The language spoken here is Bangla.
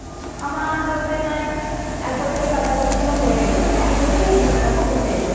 আমার বলতে নাই এক বছরের কাছাকাছি আমার হয়ে এলো, মানে এক বছরই ধরে রাখো হতে এলো।